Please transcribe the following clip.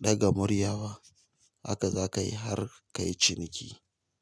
ɗaga murya ba. Haka za ka yi har ka yi ciniki.